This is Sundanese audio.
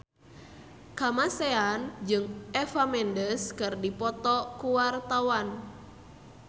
Kamasean jeung Eva Mendes keur dipoto ku wartawan